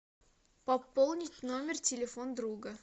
пополнить номер телефон друга